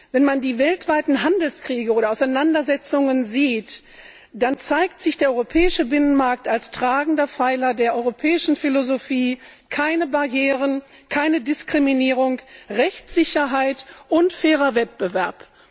Wenn man die weltweiten Handelskriege oder Auseinandersetzungen sieht, dann zeigt sich der europäische Binnenmarkt als tragender Pfeiler der europäischen Philosophie keine Barrieren, keine Diskriminierung, Rechtssicherheit und fairer Wettbewerb.